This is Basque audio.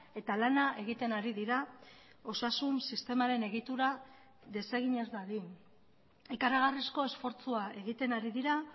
eta lana egiten ari dira osasun sistemaren egitura desegin ez dadin ikaragarrizko esfortzua egiten ari dira